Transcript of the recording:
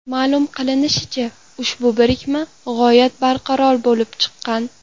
Ma’lum qilinishicha, ushbu birikma g‘oyat barqaror bo‘lib chiqqan.